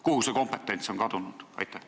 Kuhu see kompetents on kadunud?